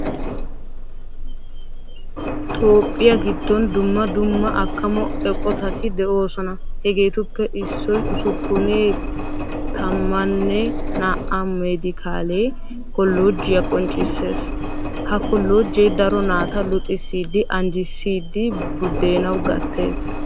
Toophphiyaa giddon dumma dumma akkamo eqqotatti deosona. Hageettuppe issoy usuppunee tammanee naa"aamedikaale kollojjiyaa qoccissees. Ha kollojjee daro naata luxxissidi anjjiissidi budenawu gattees.